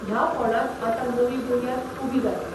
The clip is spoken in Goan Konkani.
ह्या फोंडांत आतां नवी बुन्याद उबी जातली.